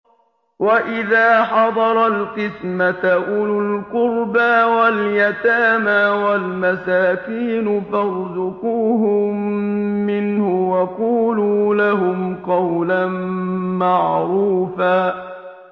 وَإِذَا حَضَرَ الْقِسْمَةَ أُولُو الْقُرْبَىٰ وَالْيَتَامَىٰ وَالْمَسَاكِينُ فَارْزُقُوهُم مِّنْهُ وَقُولُوا لَهُمْ قَوْلًا مَّعْرُوفًا